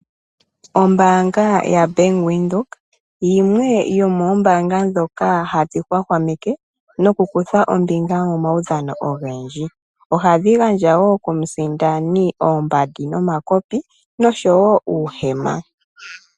Ombaanga yaBank Windhoek yimwe yomoombanga ndhoka hadhi hwahwameke nokukutha ombinga momaudhano ogendji. Ohadhi gandja wo komusindani oombandi, omakopi noshowo uuhema.